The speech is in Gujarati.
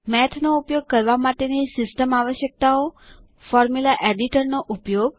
મેથ નો ઉપયોગ કરવા માટેની સિસ્ટમ આવશ્યકતાઓ ફોર્મુલા એડિટર નો ઉપયોગ